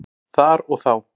Þar og þá.